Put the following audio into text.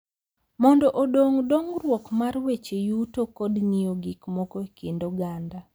Mondo odong’ dongruok mar weche yuto kod ng’iyo gik moko e kind oganda.